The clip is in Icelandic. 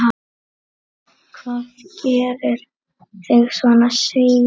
Hvað gerir þig svona seigan?